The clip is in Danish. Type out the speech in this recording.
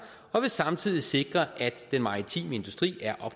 og vil samtidig sikre at den maritime industri er